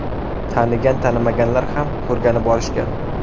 Tanigan, tanimaganlar ham ko‘rgani borishgan.